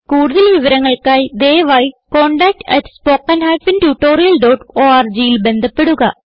കുടുതൽ വിവരങ്ങൾക്കായി ദയവായി contactspoken tutorialorgൽ ബന്ധപ്പെടുക